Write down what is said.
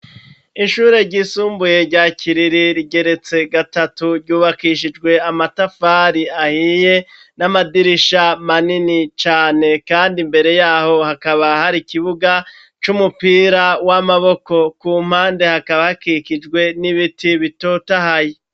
Ishure ryisumbuye rya Kiriri rigeretse gatatu, ryubakishijwe amatafari ahiye n'amadirisha manini cane, kandi imbere y'aho hakaba hari kibuga c'umupira w'amaboko, ku mpande hakaba hakikijwe n'ibiti bitotahaye.